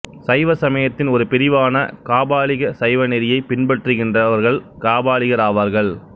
சைவசமயத்தின் ஒரு பிரிவான காபாலிக சைவநெறியை பின்பற்றுகின்றவர்கள் காபாலிகர் ஆவார்கள்